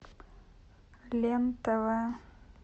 лен тв